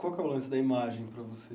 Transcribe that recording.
Qual que é o lance da imagem para você?